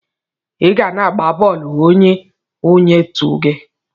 Iga na agba bọọlụ nye onye otu gi.